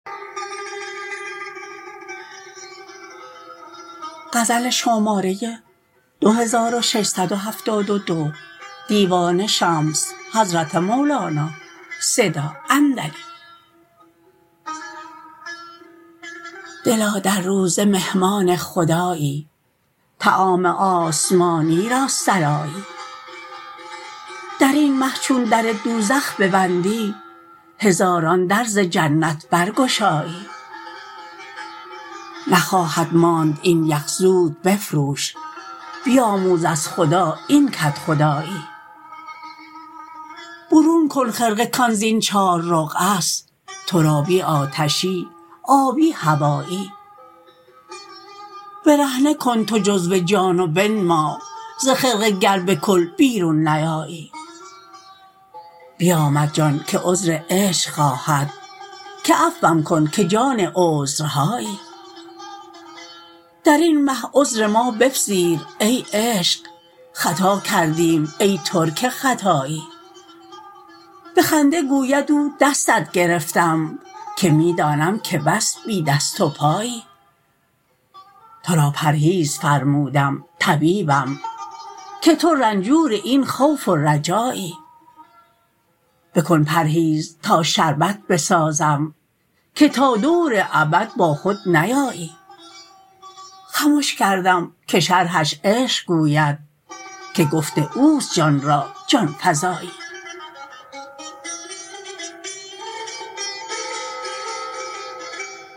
دلا در روزه مهمان خدایی طعام آسمانی را سرایی در این مه چون در دوزخ ببندی هزاران در ز جنت برگشایی نخواهد ماند این یخ زود بفروش بیاموز از خدا این کدخدایی برون کن خرقه کان زین چار رقعه ست ترابی آتشی آبی هوایی برهنه کن تو جزو جان و بنما ز خرقه گر به کل بیرون نیایی بیامد جان که عذر عشق خواهد که عفوم کن که جان عذرهایی در این مه عذر ما بپذیر ای عشق خطا کردیم ای ترک خطایی به خنده گوید او دستت گرفتم که می دانم که بس بی دست و پایی تو را پرهیز فرمودم طبیبم که تو رنجور این خوف و رجایی بکن پرهیز تا شربت بسازم که تا دور ابد باخود نیایی خمش کردم که شرحش عشق گوید که گفت او است جان را جان فزایی